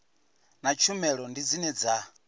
na tshumelo ndi dzine dza